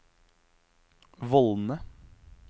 vollene